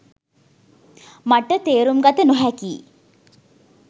මට තේරුම් ගත නොහැකියි